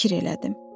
Fikir elədim.